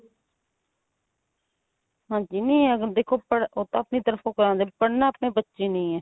ਹਾਂਜੀ ਨਹੀ ਅਗਰ ਦੇਖੋ ਉਹ ਤਾਂ ਆਪਣੀ ਤਰਫ਼ ਤੋਂ ਕਰਵਾਉਂਦੇ ਆ ਪੜਨਾ ਆਪਣੇ ਬੱਚੇ ਨੇ ਈ ਏ.